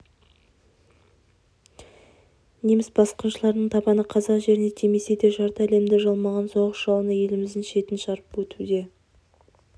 неміс басқыншыларының табаны қазақ жеріне тимесе де жарты әлемді жалмаған соғыс жалыны еліміздің шетін шарпып өтті